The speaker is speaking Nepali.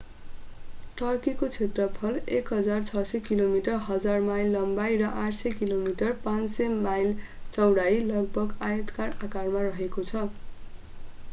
टर्कीको क्षेत्रफल 1,600 किलोमिटर 1,000 माइल लम्बाई र 800 किमि 500 माइल चौडाई लगभग आयताकार आकारमा रहेको छ।